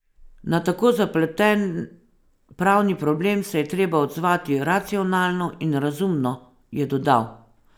Na tako zapleten pravni problem se je treba odzvati racionalno in razumno, je dodal.